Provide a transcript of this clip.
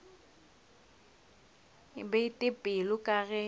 ke bete pelo ka ge